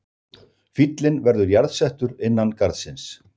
Fíllinn verður jarðsettur innan garðsins